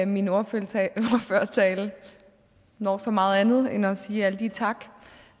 min ordførertale når så meget andet end at sige alle de tak